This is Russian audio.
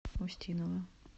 устинова